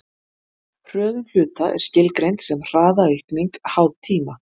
hröðun hluta er skilgreind sem hraðaaukning háð tíma